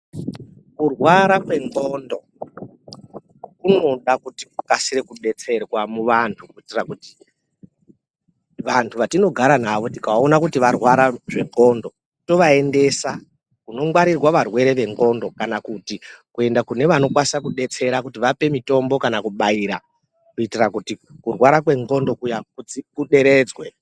Kurwara kwendxondo kunoda kuti kukasire kubetserwa muvantu. Kuitira kuti vantu vatinogara navo tikavaona kuti varwara zvendxondo tovaendesa kunongwarirwa varwere vendxondo. Kana kuti kuenda kune vanokwanisa kubetsera kuti vape mitombo kana kuti kubaira kuitira kuti kurwara kwendxondo kuya kuderedzwe.